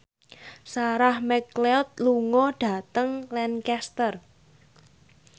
Sarah McLeod lunga dhateng Lancaster